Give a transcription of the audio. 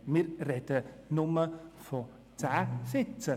Wir sprechen aber nur von 10 Sitzen.